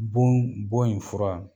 Bon bon in fura